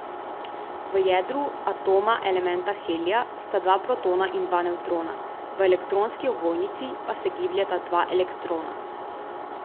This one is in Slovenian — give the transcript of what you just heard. V jedru atoma elementa helija sta dva protona in dva nevtrona, v elektronski ovojnici pa se gibljeta dva elektrona.